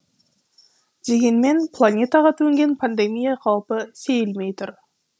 дегенмен планетаға төнген пандемия қаупі сейілмей тұр